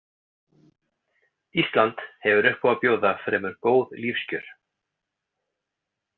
Ísland hefur upp á að bjóða fremur góð lífskjör.